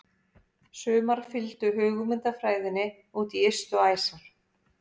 Sumar fylgdu hugmyndafræðinni út í ystu æsar.